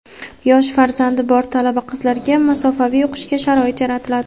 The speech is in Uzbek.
yosh farzandi bor talaba-qizlarga masofaviy o‘qishga sharoit yaratiladi;.